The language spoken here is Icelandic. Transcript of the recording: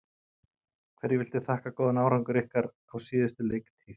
Hverju viltu þakka góðan árangur ykkar á síðustu leiktíð?